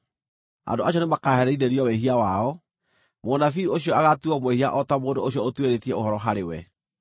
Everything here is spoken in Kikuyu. Andũ acio nĩmakaherithĩrio wĩhia wao; mũnabii ũcio agaatuuo mwĩhia o ta mũndũ ũcio ũtuĩrĩtie ũhoro harĩ we.